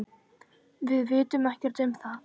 Við vitum ekkert um það.